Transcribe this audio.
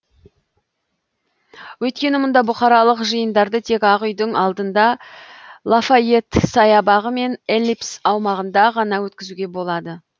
өйткені мұнда бұқаралық жиындарды тек ақ үйдің алдында лафайет саябағы мен эллипс аумағында ғана өткізуге болады